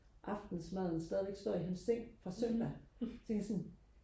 aftensmaden stadigvæk står i hans seng fra søndag så tænker jeg sådan